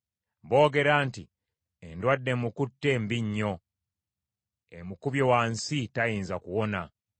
Boogera nti, “Endwadde emukutte mbi nnyo, emukubye wansi tayinza kuwona.”